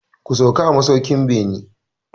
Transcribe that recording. Ku sauka a masaukin beni.